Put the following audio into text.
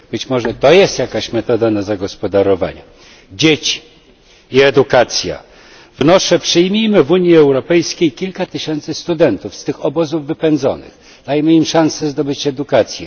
Być może to jest jakaś metoda na zagospodarowanie. Dzieci i edukacja przyjmijmy w Unii Europejskiej kilka tysięcy studentów z tych obozów wypędzonych, dajmy im szansę zdobycia edukacji.